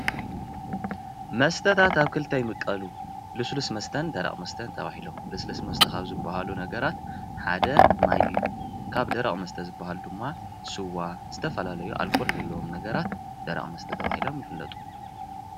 መስተታት ኣብ ክልት ይምቀሉ ።ልስሉስ መስተን ደረቅ መስተን ተባሂሎም፡፡ ልስሉስ መስተ ካብ ዝብሃሉ ነገራት ሓደ ማይ እዩ። ካብ ደረቅ መስተ ዝብሃሉ ድማ ስዋ ዝተፈላለዩ ኣልኮል ዘለዎም ነገራት ደረቅ መስተ ተባሂሎም ይፍለጡ።